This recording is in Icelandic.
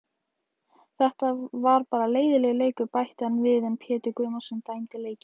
Þetta var bara leiðinlegur leikur, bætti hann við en Pétur Guðmundsson dæmdi leikinn.